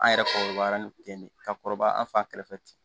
An yɛrɛ kɔrɔbayara nin ten ne ka kɔrɔbaya an fan kɛrɛfɛ